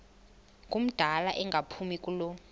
ngumdala engaphumi kulo